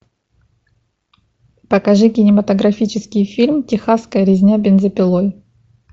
покажи кинематографический фильм техасская резня бензопилой